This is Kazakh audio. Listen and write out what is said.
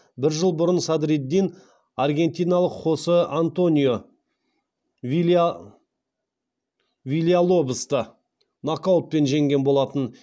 бір жыл бұрын садриддин аргентиналық хосе антонио вильялобосты нокаутпен жеңген болатын